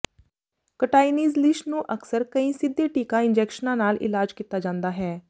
ਕਟਾਈਨੀਜ਼ ਲੀਿਸ਼ ਨੂੰ ਅਕਸਰ ਕਈ ਸਿੱਧੇ ਟੀਕਾ ਇੰਜੈਕਸ਼ਨਾਂ ਨਾਲ ਇਲਾਜ ਕੀਤਾ ਜਾਂਦਾ ਹੈ